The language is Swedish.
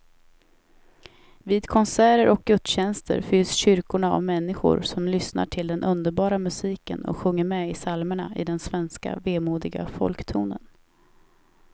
Vid konserter och gudstjänster fylls kyrkorna av människor som lyssnar till den underbara musiken och sjunger med i psalmerna i den svenska vemodiga folktonen.